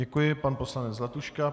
Děkuji, pan poslanec Zlatuška.